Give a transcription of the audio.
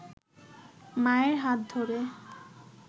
মায়ের হাত ধরে